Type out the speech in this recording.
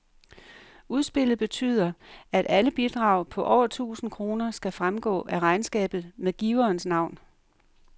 Udspillet betyder, at alle bidrag på over tusind kroner skal fremgå af regnskabet med giverens navn.